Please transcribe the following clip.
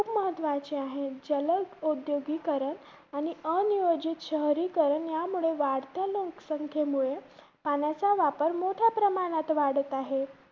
महत्वाचे आहे. जल औद्योगिकरण आणि अनियोजित शहरीकरण यामुळे वाढत्या लोकासंखेमुळे पाण्याचा वापर मोठ्या प्रमाणात वाढत आहे.